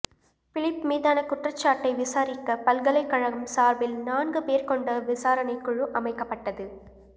Philip மீதான குற்றச்சாட்டை விசாரிக்க பல்கலைக்கழகம் சார்பில் நான்கு பேர் கொண்ட விசாரணை குழு அமைக்கப்பட்டது